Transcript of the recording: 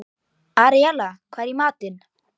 Aríella, hvað er í matinn?